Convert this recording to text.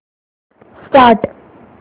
start